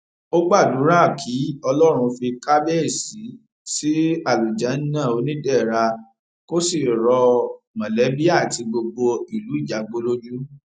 ó gbàdúrà kí ọlọrun fi kàbàyèsí sí àlùjánnà onídẹra kó sì rọ mọlẹbí àti gbogbo ìlú ìjágbó lójú